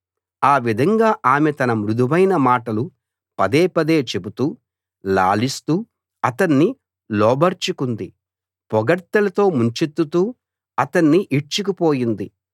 ఆ విధంగా ఆమె తన మృదువైన మాటలు పదే పదే చెబుతూ లాలిస్తూ అతణ్ణి లోబరచుకుంది పొగడ్తలతో ముంచెత్తుతూ అతణ్ణి ఈడ్చుకు పోయింది